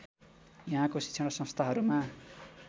यहाँको शिक्षण संस्थाहरूमा